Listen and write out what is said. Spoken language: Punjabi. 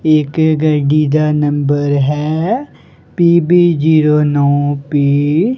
ਇਸ ਗੱਡੀ ਦਾ ਨੰਬਰ ਹੈ ਪੀ_ਬੀ ਜੀਰੋ ਨੋ ਪੀ --